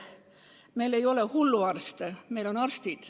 Meil ei ole hulluarste, meil on arstid.